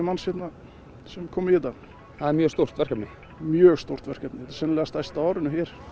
manns hérna sem koma í þetta það er mjög stórt verkefni mjög stórt verkefni sennilega stærsta á árinu hér